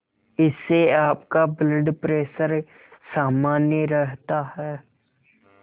इससे आपका blood pressure सामान्य रहता है